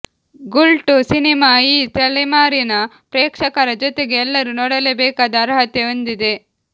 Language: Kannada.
ಗುಲ್ಟು ಸಿನಿಮಾ ಈ ತಲೆಮಾರಿನ ಪ್ರೇಕ್ಷಕರ ಜೊತೆಗೆ ಎಲ್ಲರೂ ನೋಡಲೇ ಬೇಕಾದ ಅರ್ಹತೆ ಹೊಂದಿದೆ